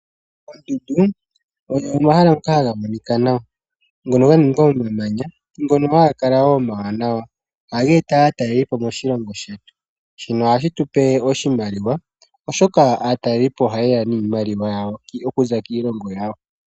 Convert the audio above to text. Oondundu, oyo omahala ngoka haga monika, ngono ga ningwa nomamanya ngono haga kala wo omawanawa, ohaga eta aatalelipo moshilongo shetu. Shino ohashi tu pe oshimaliwa, oshoka aatalelipo ohaye ya niimaliwa yawo okuza kiilongo yawo.